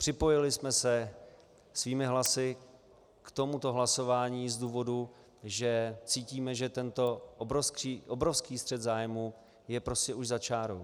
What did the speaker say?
Připojili jsme se svými hlasy k tomuto hlasování z důvodu, že cítíme, že tento obrovský střet zájmů je prostě už za čárou.